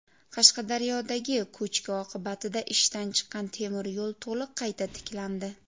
Qashqadaryodagi ko‘chki oqibatida ishdan chiqqan temiryo‘l to‘liq qayta tiklandi.